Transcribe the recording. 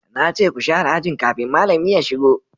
na ce ku sharé aji kafin malami ya shigo!